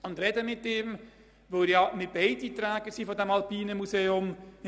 Wir sprechen mit ihm, weil wir ja beide Träger des Alpinen Museums sind.